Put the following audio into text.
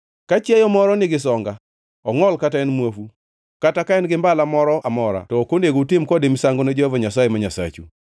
Ka chiayo moro nigi songa, ongʼol kata en muofu kata ka en gi mbala moro amora to ok onego utim kode misango ne Jehova Nyasaye ma Nyasachu.